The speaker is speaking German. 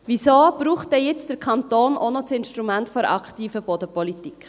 Wieso braucht dann nun der Kanton auch noch das Instrument der aktiven Bodenpolitik?